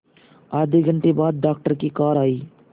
आधे घंटे बाद डॉक्टर की कार आई